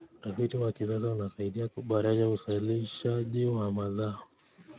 Utafiti wa kisasa unasaidia kuboresha uzalishaji wa mazao.